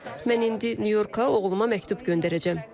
Mən indi Nyu-Yorka oğluma məktub göndərəcəm.